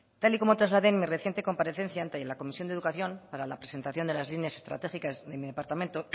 tal y como trasladé en mi reciente comparecencia ante la comisión de educación para la presentación de las líneas estratégicas de mi departamento